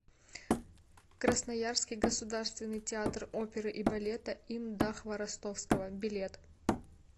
красноярский государственный театр оперы и балета им да хворостовского билет